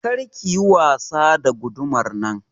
Kar ki yi wasa da gudumar nan!